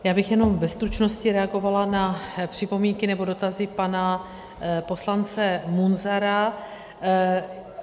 Já bych jenom ve stručnosti reagovala na připomínky nebo dotazy pana poslance Munzara.